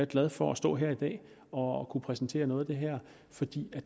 glad for at stå her i dag og og kunne præsentere noget af det her fordi